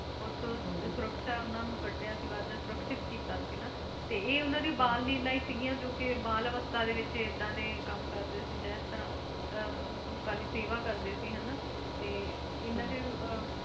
ਉਥੋਂ ਸੁਰਕ੍ਸ਼ਾ ਉਹਨਾਂ ਨੂੰ ਕੱਢਿਆ ਸੀ ਬਾਹਰ, ਸੁਰਕ੍ਸ਼ਿਤ ਕੀਤਾ ਸੀ ਹਨਾ, ਤੇ ਇਹ ਉਹਨਾਂ ਦੀਆਂ ਬਾਲ ਲੀਲਾ ਹੀ ਸਿਗੀਆਂ ਜੋ ਕਿ ਬਾਲ ਅਵਸਥਾ ਵਿੱਚ ਏਦਾਂ ਦੇ ਕਮ ਕਰਦੇ ਸੀ ਜਿਸ ਤਰ੍ਹਾਂ ਅਹ ਲੋਕਾਂ ਦੀ ਸੇਵਾ ਕਰਦੇ ਸੀ ਹਨਾ ਤੇ ਇਹਨਾਂ ਦੇ ਅਹ